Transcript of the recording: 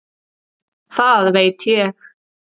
Það veit ég.